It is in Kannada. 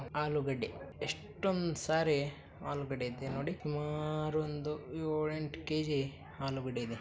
ಆಲೂಗಡ್ಡೆ ಎಷ್ಟೊಂದ್ ಸಾರಿ ಆಲೂಗಡ್ಡೆ ಇದೆ ನೋಡಿ ಸುಮಾರ್ ಒಂದು ಯೊಳ್ ಎಂಟ್ ಕೆಜಿ ಆಲೂಗಡ್ಡೆ ಇದೆ.